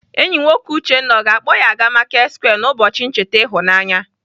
Enyi nwoke Uchenna ọ ga-akpọ ya aga Marketsquare n'ụbọchi ncheta ịhụnanya?